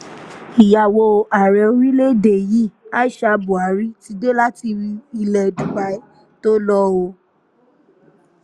ìyàwó ààrẹ orílẹ̀-èdè yìí aisha buhari ti dé láti ilẹ̀ dubai tó lò ó